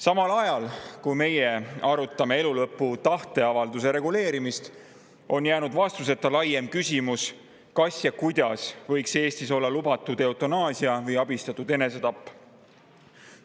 Samal ajal kui meie arutame elulõpu tahteavalduse reguleerimist, on jäänud vastuseta laiem küsimus, kas ja kuidas võiks Eestis olla lubatud eutanaasia või abistatud enesetapp.